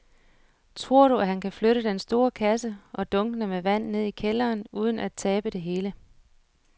Tror du, at han kan flytte den store kasse og dunkene med vand ned i kælderen uden at tabe det hele?